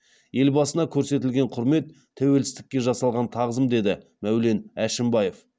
елбасына көрсетілген құрмет тәуелсіздікке жасалған тағзым деді мәулен әшімбаев